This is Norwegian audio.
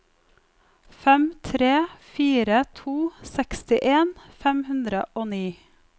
fem tre fire to sekstien fem hundre og ni